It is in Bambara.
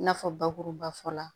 I n'a fɔ bakuruba fɔla